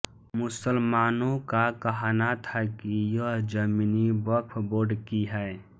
मुसलमानों का कहना था कि यह ज़मीनि वक्फ़ बोर्ड की है